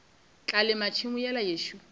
tla lema tšhemo yela yešo